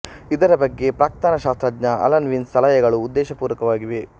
ಇದರ ಬಗ್ಗೆ ಪ್ರಾಕ್ತನ ಶಾಸ್ತ್ರಜ್ಞ ಅಲನ್ ವಿನ್ಸ್ ಸಲಹೆಗಳು ಉದ್ದೇಶಪೂರ್ವಕವಾಗಿವೆ